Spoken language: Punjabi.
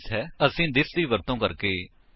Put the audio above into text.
ਓਰਗ ਹੁਣ ਅਸੀ ਥਿਸ ਕੀਵਰਡ ਦੇ ਬਾਰੇ ਵਿੱਚ ਜਾਣਾਗੇ